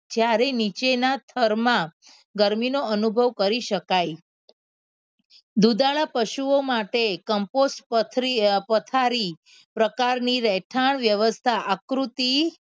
જ્યારે નીચેના થરમાં ગરમીનો અનુભવ કરી શકાય દુધાળા પશુઓ માટે કમ્પોસ્ટ પથરી પથારી પ્રકારની રહેઠાણ વ્યવસ્થા આકૃતિ